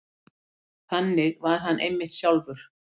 Þannig var hann einmitt sjálfur.